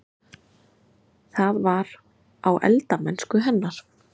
Það var: á eldamennsku hennar.